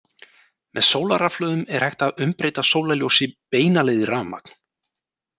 Með sólarrafhlöðum er hægt að umbreyta sólarljósi beina leið í rafmagn.